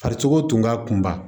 Fari cogo tun ka kunba